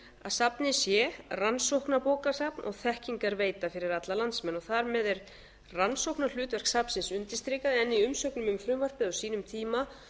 safnið sé rannsóknarbókasafn og þekkingarveita fyrir alla landsmenn þar með er rannsóknarhlutverk safnsins undirstrikað en í umsögnum um frumvarpið á sínum tíma